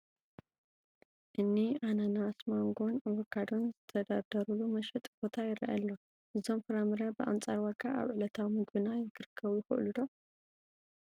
እኒ ኣናናን፣ ማንጎን ኣቮካዶን ዝተደርደሩሉ መሸጢ ቦታ ይርአ ኣሎ፡፡ እዞም ፍራ ምረ ብኣንፃር ዋጋ ኣብ ዕለታዊ ምግብና ክርከቡ ይኽእሉ ዶ?